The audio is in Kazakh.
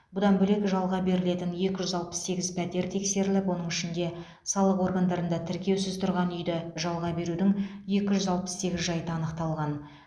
бұдан бөлек жалға берілетін екі жүз алпыс сегіз пәтер тексеріліп оның ішінде салық органдарында тіркеусіз тұрғын үйді жалға берудің екі жүз алпыс сегіз жайты анықталған